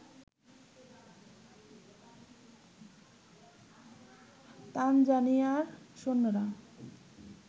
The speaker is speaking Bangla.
তানজানিয়ার সৈন্যরা